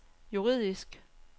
juridisk